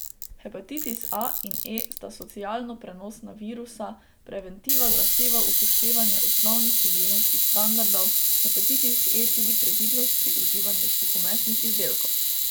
Hepatitis A in E sta socialno prenosna virusa, preventiva zahteva upoštevanje osnovnih higienskih standardov, hepatitis E tudi previdnost pri uživanju suhomesnih izdelkov.